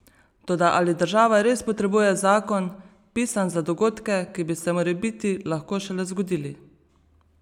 Toda ali država res potrebuje zakon, pisan za dogodke, ki bi se morebiti lahko šele zgodili?